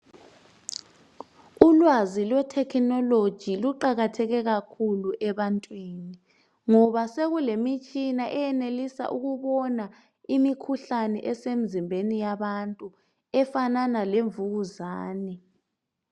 Ulwazi lwethekhinoloji luqakatheke kakhulu ebantwini ngoba sekulemitshina eyenelisa ukubona imikhuhlane esemzimbeni yabantu efanana lemvukuzane.